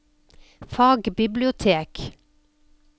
fagbibliotek